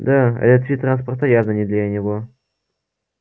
да этот вид транспорта явно не для него